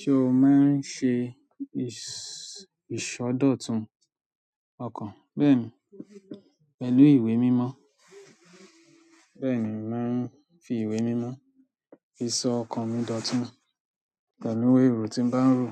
Ṣe o máa ń ṣe is ìṣọdọ̀tun? Ọkàn bẹ́ẹ̀ni, pẹ̀lú ìwé mímọ́. Bẹ́ẹ̀ni mò ń fi ìwé mímọ́ fi sọ ọkàn mi dòtún pẹ̀lú èrò tí ń bá ń rò,